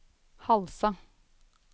Halsa